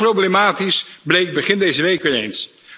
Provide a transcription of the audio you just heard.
Hoe problematisch bleek begin deze week weer eens.